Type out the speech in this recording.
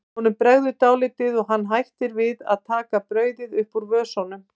Honum bregður dálítið og hann hættir við að taka brauðið upp úr vösunum.